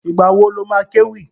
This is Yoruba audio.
Ìgbà wo lo má kéwì?